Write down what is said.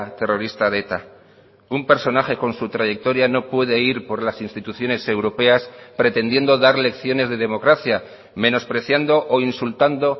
terrorista de eta un personaje con su trayectoria no puede ir por las instituciones europeas pretendiendo dar lecciones de democracia menospreciando o insultando